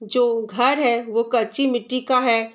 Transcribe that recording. जो घर है वो कच्ची मिट्टी का है।